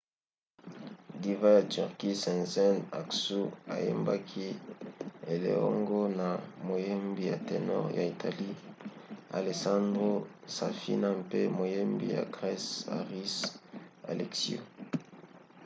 diva ya turquie sezen aksu ayembaki eleongo na moyembi ya ténor ya italie alessandro safina mpe moyembi ya grese haris alexiou